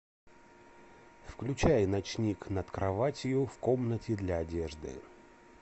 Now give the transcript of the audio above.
включай ночник над кроватью в комнате для одежды